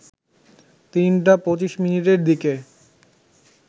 ৩টা ২৫ মিনিটের দিকে